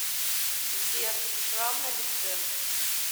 сбер шрам на лице